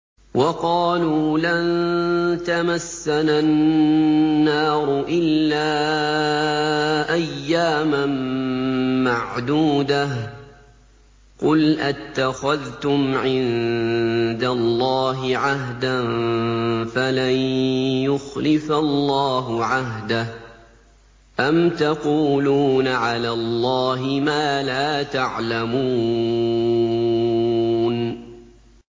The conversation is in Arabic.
وَقَالُوا لَن تَمَسَّنَا النَّارُ إِلَّا أَيَّامًا مَّعْدُودَةً ۚ قُلْ أَتَّخَذْتُمْ عِندَ اللَّهِ عَهْدًا فَلَن يُخْلِفَ اللَّهُ عَهْدَهُ ۖ أَمْ تَقُولُونَ عَلَى اللَّهِ مَا لَا تَعْلَمُونَ